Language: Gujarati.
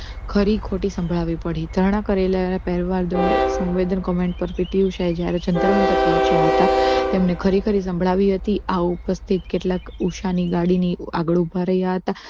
ખરી ખોટી સંભળાવી પડી ધારણા કરેલા પહેલવાન દ્વાર સંવેદન comment પર PT ઉષાએ જ્યારે જંતર મંતર પહોંચ્યા હતા તેમને ખરેખર એ સંભળાવી હતી આ ઉપસ્થિત કેટલાક ઉષા ની ગાડી ની આગળ ઊભા રહ્યા હતા